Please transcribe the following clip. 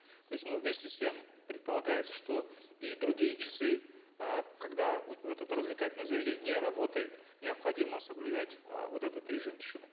то есть ну вместе с тем предполагается что и другие часы э когда это развлекательное заведение не работает необходимо соблюдать э вот этот режим тишины